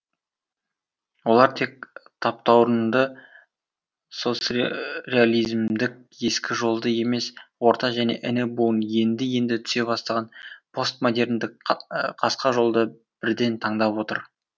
олар тек таптауырынды соцреализмдік ескі жолды емес орта және іні буын енді енді түсе бастаған постмодерндік қасқа жолды бірден таңдап отыр